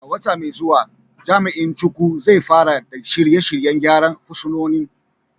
A wata mai zuwa, Jami’in Chukwu, zai fara kula da shirye-shiryen gyara fursunonin.